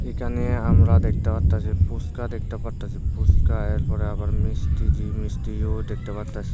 এখানে আমরা দেখতে পারতাছি ফুচকা দেখতে পারতাছি ফুচকা এরপর আবার মিষ্টি মিষ্টিও দেখতে পারতাছি।